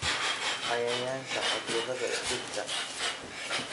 Cayayaanka/cudurada dhirta.